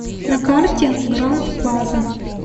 на карте гранд плаза